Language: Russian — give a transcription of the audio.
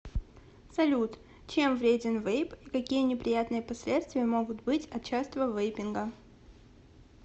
салют чем вреден вейп и какие неприятные последствия могут быть от частого вейпинга